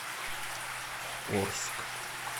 орск